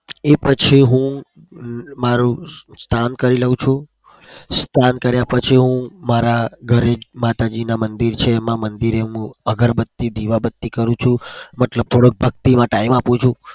એ પછી હું મારું સ્નાન કરી લઉં છું. સ્નાન કર્યા પછી હું મારા ઘરે માતાજીનું મંદિર છે એમાં મંદિરે હું અગરબતી દીવાબતી કરું છું. એટલે કે છું ભક્તિ માં time આપું છું.